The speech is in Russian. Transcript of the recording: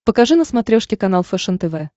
покажи на смотрешке канал фэшен тв